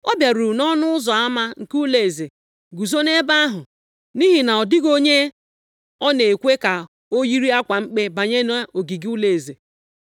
Ọ bịaruru nʼọnụ ụzọ ama nke ụlọeze guzo nʼebe ahụ, nʼihi na ọ dịghị onye a na-ekwe ka o yiri akwa mkpe banye nʼogige ụlọeze.